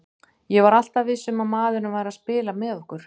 Ég var alltaf viss um að maðurinn væri að spila með okkur.